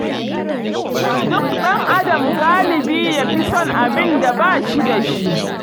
Duk ɗan'adam galibi ya fi son abin da ba shi da shi.